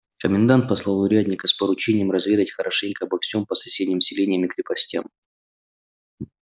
комендант послал урядника с поручением разведать хорошенько обо всём по соседним селениям и крепостям